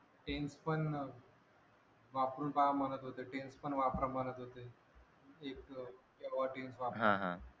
Tense पण वापरून पहा म्हणत होते Tense पण वापरा म्हणत होते एक वापरा